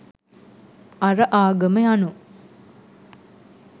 අර ආගම යනු